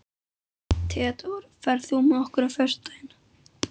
Theódór, ferð þú með okkur á föstudaginn?